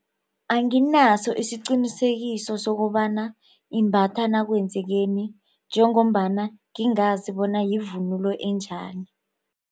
Anginaso isiqinisekiso sokobana imbatha nakwenzekeni njengombana ngingazi bona yivunulo enjani.